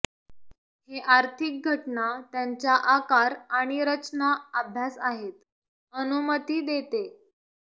हे आर्थिक घटना त्यांच्या आकार आणि रचना अभ्यास आहेत अनुमती देते